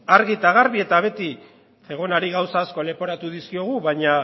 argi eta garbi eta beti zegonari gauza asko leporatu dizkiogu baina